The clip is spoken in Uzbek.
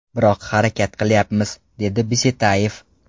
Biroq harakat qilyapmiz”, dedi Bisetayev.